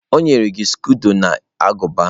O nyere gi skodo na aguba?